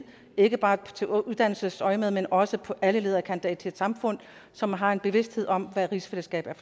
ikke bare i uddannelsesøjemed men også på alle leder og kanter i et samfund som har en bevidsthed om hvad rigsfællesskabet